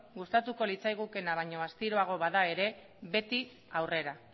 gustatu litzaigukeena baino astiroago bada ere beti aurrera